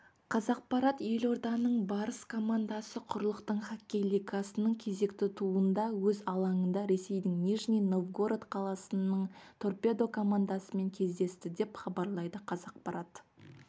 қазақпарат елорданың барыс командасы құрлықтық хоккей лигасының кезекті турында өз алаңында ресейдің нижний новгород қаласының торпедо командасымен кездесті деп хабарлайды қазақпарат